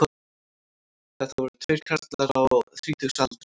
Þetta voru tveir karlar á þrítugsaldri